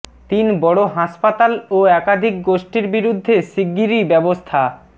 তিন বড় হাসপাতাল ও একাধিক গোষ্ঠীর বিরুদ্ধে শিগগিরই ব্যবস্থা